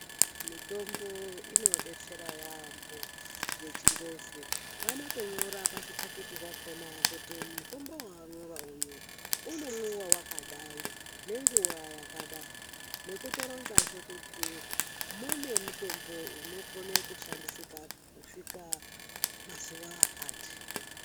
Mitombo inodetsera yaambo yeChiNgezi. Vanotonyora pazvikati zvakona kuti mutombo wawapuwa uyu unomwiwa nenguwa yakadai nekutoronzazve kuti mune mutombo unokone kushandisika kusvika mazuwa akati.